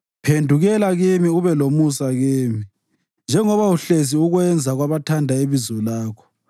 Phendukela kimi ube lomusa kimi, njengoba uhlezi ukwenza kwabathanda ibizo lakho.